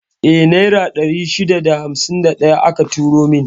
Eh, Naira 651 aka turo min.